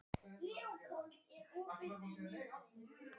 Hreppstjóri Eyrarsveitar var Bjarni Sigurðsson á Berserkseyri.